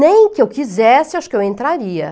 Nem que eu quisesse, acho que eu entraria.